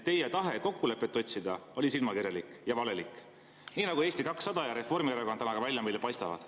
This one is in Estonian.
Teie tahe kokkulepet otsida oli silmakirjalik ja valelik, nagu Eesti 200 ja Reformierakond meile täna ka välja paistavad.